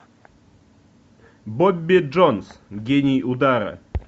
бобби джонс гений удара